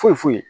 Foyi foyi